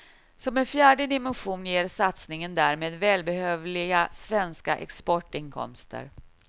Som en fjärde dimension ger satsningen därmed välbehövliga svenska exportinkomster.